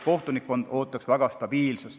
Kohtunikkond ootaks väga stabiilsust.